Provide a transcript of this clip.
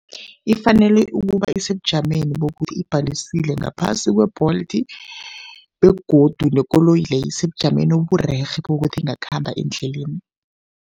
Ifanele ukuba isebujameni bokuthi ibhalisile ngaphasi kwe-Bolt begodu nekoloyi leyo isebujameni oburerhe bokuthi ingakhamba endleleni.